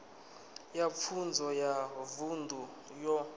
ya pfunzo ya vunḓu yo